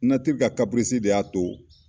ka de y'a to